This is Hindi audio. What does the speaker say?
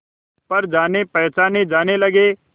पर जानेपहचाने जाने लगे